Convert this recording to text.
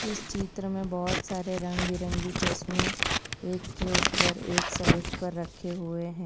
इस चित्र में बहोत सारे रंग बिरंगे चश्मे एक के ऊपर एक सेल्फ पर रखे हुए हैं।